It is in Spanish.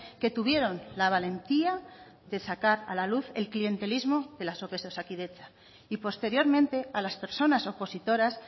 que tuvieron la valentía de sacar a la luz el clientelismo de las ope de osakidetza y posteriormente a las personas opositoras